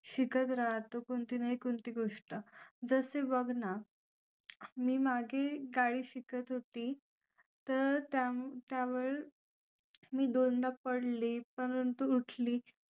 शिकत राहतो कोणती ना कोणती गोष्ट जसे बघ ना मी मागे गाडी शिकत होती तर त्यावर मी दोनदा पडली परंतु उठली आणि